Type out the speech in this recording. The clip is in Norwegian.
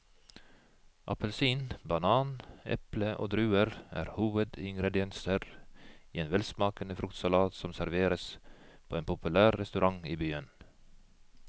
Appelsin, banan, eple og druer er hovedingredienser i en velsmakende fruktsalat som serveres på en populær restaurant i byen.